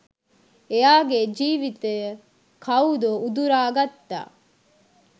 එයාගේ ජීවිතය කවුදො උදුරාගත්තා.